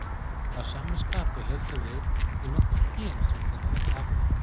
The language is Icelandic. Að sama skapi höldum við í nokkur gen sem þeir hafa tapað.